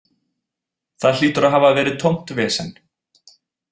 Það hlýtur að hafa verið tómt vesen.